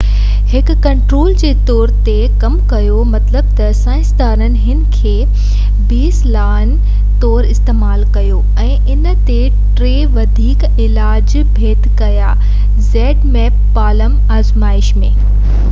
palm آزمائش ۾ zmapp هڪ control جي طور تي ڪم ڪيو مطلب ته سائنسدانن ان کي بيس لائن طور استعمال ڪيو ۽ ان تي ٽي وڌيڪ علاج ڀيٽ ڪيا